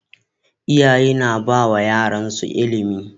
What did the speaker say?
Iyaye na bawa yaransu ilimi